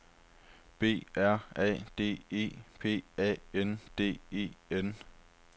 B R A D E P A N D E N